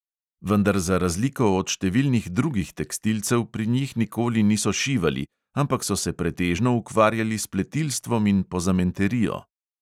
Vendar za razliko od številnih drugih tekstilcev pri njih nikoli niso šivali, ampak so se pretežno ukvarjali s pletilstvom in pozamenterijo.